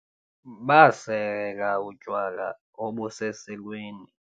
basela utywala obuseselweni